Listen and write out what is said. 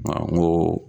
N ko